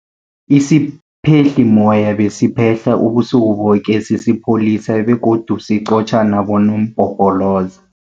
Isiphehlimmoya besiphehla ubusuku boke sisipholisa begodu siqotjha nabonompopoloza.